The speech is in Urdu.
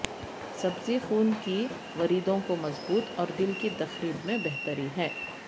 سبزی خون کی وریدوں کو مضبوط اور دل کی تقریب میں بہتری ہے